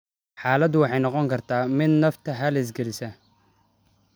Xaaladdu waxay noqon kartaa mid nafta halis gelisa.